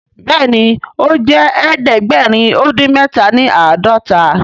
Béèni o jé ẹdẹgbẹrin odin mẹta ní ãdọta.